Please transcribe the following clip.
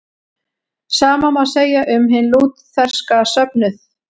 Sama má segja um hinn lútherska söfnuð.